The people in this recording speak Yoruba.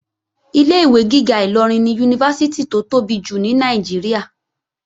Ilé-ìwé gíga Ìlọrin ni Yunifásítì tó tóbi jù ní Nàìjíríà